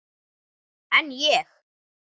En ég.